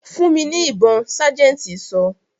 "Fún mi ní ibon' sájẹ̀ntì sọ.